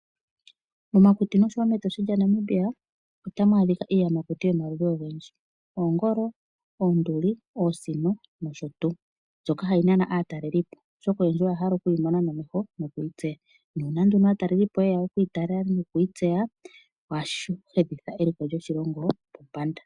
Momakuti noshowo mEtosha lya Namibia otamu adhika iiyamakuti yomaludhi ogendji oongolo, oonduli, oosino nosho tuu. Mbyoka hayi nana aatalelipo oshoka oyendji oya hala oku yi mona nomeho noku yi tseya. Nuuna nduno aatalelipo yeya okuyi tala noku yi tseya, ohashi enditha eliko lyoshilongo pombanda.